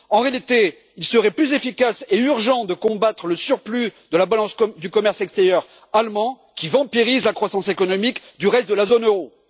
En réalité, il serait plus efficace et urgent de combattre le surplus de la balance du commerce extérieur allemand, qui vampirise la croissance économique du reste de la zone euro.